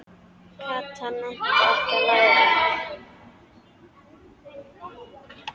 Kata nennti ekki að læra.